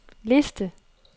liste